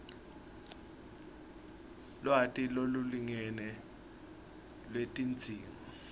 lwati lolulingene lwetidzingo